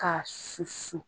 K'a susu